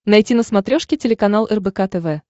найти на смотрешке телеканал рбк тв